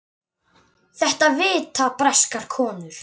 Þetta vita breskar konur.